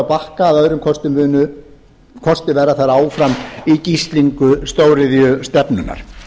bakka að öðrum kosti verða þær áfram í gíslingu stóriðjustefnunnar